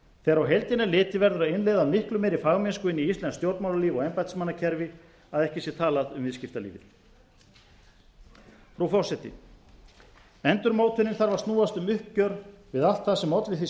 þegar á heildina er litið verður að innleiða miklu meiri fagmennsku inn í íslenskt stjórnmálalíf og embættismannakerfi að ekki sé talað um viðskiptalífið frú forseti endurmótunin þarf að snúast um uppgjör við allt það sem olli því